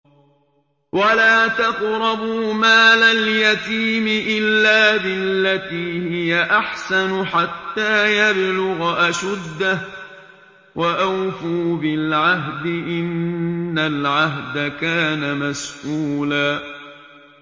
وَلَا تَقْرَبُوا مَالَ الْيَتِيمِ إِلَّا بِالَّتِي هِيَ أَحْسَنُ حَتَّىٰ يَبْلُغَ أَشُدَّهُ ۚ وَأَوْفُوا بِالْعَهْدِ ۖ إِنَّ الْعَهْدَ كَانَ مَسْئُولًا